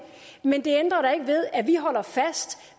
men det ændrer da ikke ved at vi holder fast